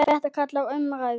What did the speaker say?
Þetta kallar á umræðu.